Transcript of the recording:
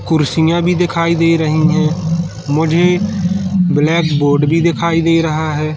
कुर्सियां भी दिखाई दे रही है मुझे ब्लैक बोर्ड भी दिखाई नहीं रहा है।